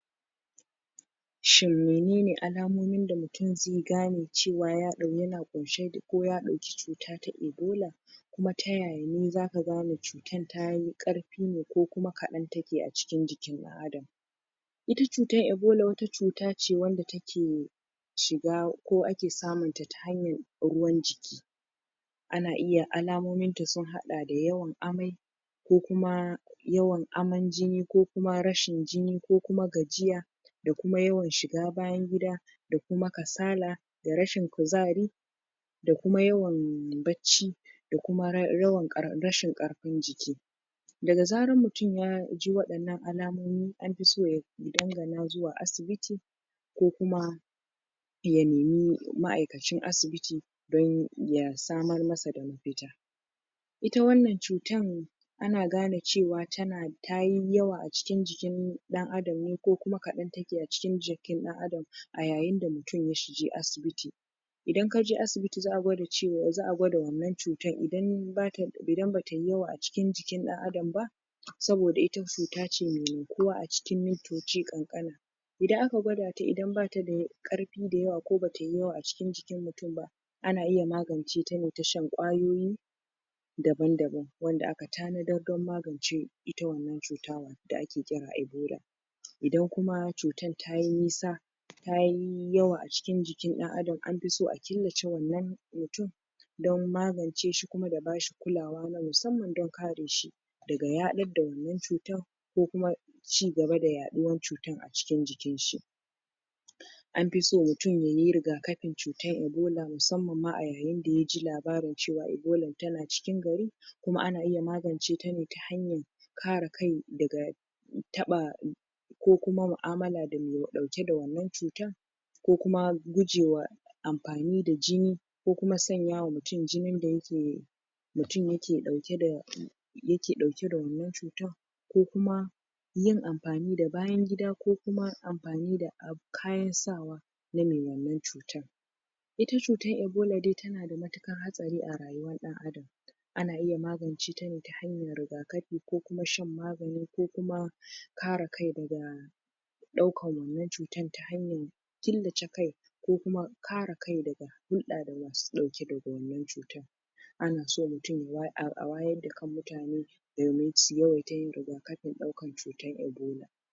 shin menene alamomin da mutum zai gane cewa ya ɗau.. yana ƙunshe da ko ya dauki cuta ta ibola kuma ta yaya zaka gane cutar tayi karfi ne ko kuma kaɗan take a cikin jikin ɗan adam ita cutar ibola wata cuta ce wanda take shiga ko ake samunta ta hanyar ruwan jiki ana iya alamominta sun haɗa da yawan amai ko kuma yawan aman jini ko kuma rashin jini, ko kuma gajiya da kuma yawan shiga bayan gida da kuma kasala da rashin kuzari da kuma yawan bacci da kuma ra... yawan rashin ƙarfin jiki daga zaran mutum yaji waɗannan alamomi anfi so ya dangana zuwa asibiti ko kuma ya nemi ma'aikacin asibiti don ya samar masa da mafita ita wannan cutar ana gane cewa tana tayi yawa a cikin jikin ɗan adam ne ko kuma kaɗan take a cikin jikin dan adam a yayinda mutum ya shige asibiti idan kaje asibiti za'a gwada cewar, za'a gwada wannan cutar idan bata ds idan batayi yawa a cikin jikin ɗan adam ba saboda ita cuta ce mai garkuwa a cikin mintoci kankani idan aka gwadata idan bata da karfi da yawa ko ba tayi yawa a cikin jikin mutum ba ana iya maganceta ne ta hanyar shan kwayoyi daban-daban wanda aka tanadar dan magance ita wannan cuta da ake kira ibola idan kuma cutar tayi nisa tayi yawa a cikin jikin ɗan adam anfiso a killace wannan mutum don magance shi kuma da bashi kulawa na musamman don kareshi daga yaɗar da wannan cutar ko kuma ci gaba da yaɗuwar cutar a cikin jikinshi anfiso mutum yayi rigakafin cutar ibola musamman ma a yayin da ya ji labarin cewa ibolan tana cikin gari kuma ana iya magance tane ta hanyar kare kai daga taba ko kuma mu'amala da mai ɗauke da wannan cutan ko kuma gujewa amfanin da jini ko kuma sanyawa mutum jinin da yake mutum yake ɗauke da yake ɗauke da wannan cutan ko kuma yin amfani da bayan gida ko kuma amfani da ab.. kayan sawa na me wannan cutan ita cutar ibola dai tana da matukar hatsari a rayuwar ɗan adam ana iya maganceta ne ta hanyar rigafi ko kuma shan magani ko kuma kare kai daga ɗaukar wannan cuta ta hanyar killace kai ko kuma kare kai daga daga hulɗa da masu ɗauke da wannan cutar anaso mutum a way.. a wayar da kan mutane domin su yawaita yin rigafin ɗaukar cutar ibola